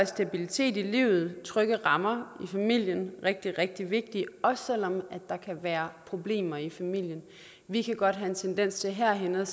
så stabilitet i livet og trygge rammer i familien er rigtig rigtig vigtigt også selv om der kan være problemer i familien vi kan godt have en tendens til herinde